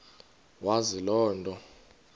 wazi loo nto